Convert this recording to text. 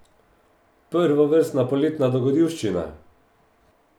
Prvovrstna poletna dogodivščina!